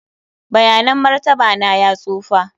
bayanan martaba na ya tsufa.